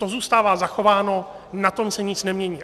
To zůstává zachováno, na tom se nic nemění.